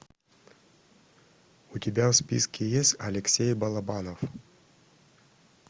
у тебя в списке есть алексей балабанов